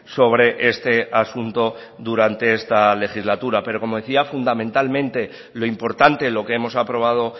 sobre este asunto durante esta legislatura pero como decía fundamentalmente lo importante lo que hemos aprobado